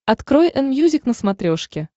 открой энмьюзик на смотрешке